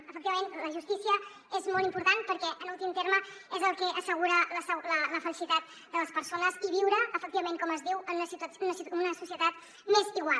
efectivament la justícia és molt important perquè en últim terme és el que assegura la felicitat de les persones i viure efectivament com es diu en una societat més igual